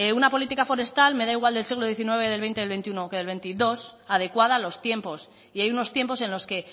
una política forestal me da igual del siglo diecinueve del veinte del veintiuno que del veintidós adecuada a los tiempos y hay unos tiempos en los que